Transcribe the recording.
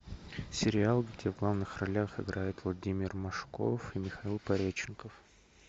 сериал где в главных ролях играет владимир машков и михаил пореченков